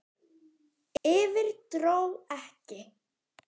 Yfir- dró ekki!